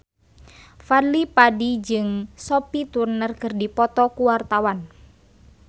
Fadly Padi jeung Sophie Turner keur dipoto ku wartawan